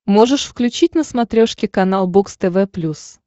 можешь включить на смотрешке канал бокс тв плюс